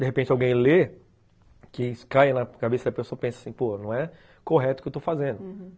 De repente, alguém lê, que cai na cabeça da pessoa e pensa assim, pô, não é correto o que eu estou fazendo, uhum.